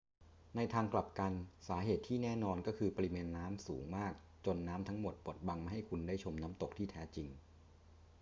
ในทางกลับกัน สาเหตุที่แน่นอนก็คือปริมาณน้ำสูงมากจนน้ำทั้งหมดบดบังไม่ให้คุณได้ชมน้ำตกที่แท้จริง